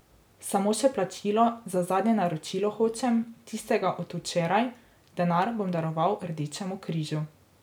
Samo še plačilo za zadnje naročilo hočem, tistega od včeraj, denar bom daroval Rdečemu križu.